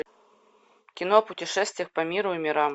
кино путешествие по миру и мирам